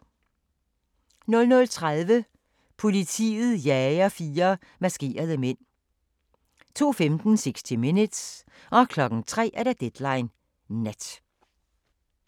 00:30: Politiet jager fire maskerede mænd 02:15: 60 Minutes 03:00: Deadline Nat